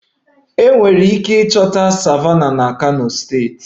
Enwere ike ịchọta Savannahs na kano steeti